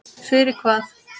Fyrir hvað?